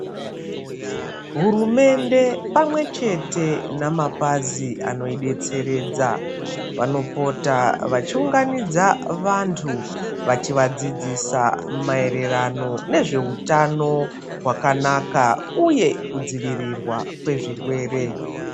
Hurumende pamwe chete namapazi anoidetseredza vanopota vachiunganidza vantu vachivadzidzisa maererano nezvehutano hwakanaka uye kudzivirirwa kwezvirwere.